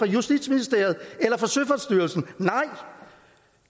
justitsministeriet eller søfartsstyrelsen nej